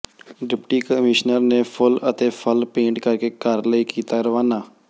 deputy commissioner ਨੇ ਫੁੱਲ ਅਤੇ ਫ਼ਲ ਭੇਟ ਕਰਕੇ ਘਰ ਲਈ ਕੀਤਾ ਰਵਾਨਾ